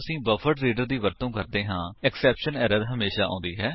ਜਦੋਂ ਅਸੀ ਬਫਰਡਰੀਡਰ ਦੀ ਵਰਤੋ ਕਰਦੇ ਹਾਂ ਐਕਸੈਪਸ਼ਨ ਐਰਰ ਹਮੇਸ਼ਾ ਆਉਂਦੀ ਹੈ